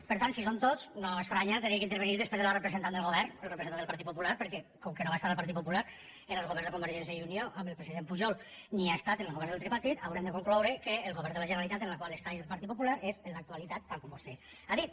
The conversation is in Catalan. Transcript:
per tant si són tots no estranya que hagin d’intervenir després de la representant del govern el representant del partit popular perquè com que no va estar el partit popular en els governs de convergència i unió amb el president pujol ni ha estat en els governs del tripartit haurem de concloure que el govern de la generalitat en el qual hi ha el partit popular és en l’actualitat tal com vostè ha dit